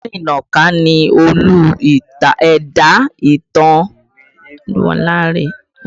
Ogunlarinnaka ni Olú ẹ̀dá ìtàn ìwé Eégún Aláré